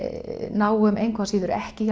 náum engu að síður ekki